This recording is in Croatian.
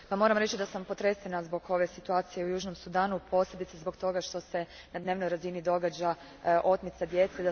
Gospodine Marias, moram reći da sam potresena zbog situacije u Južnom Sudanu, posebice zbog toga što se na dnevnoj razini događaju otmice djece.